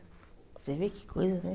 Você vê que coisa, né?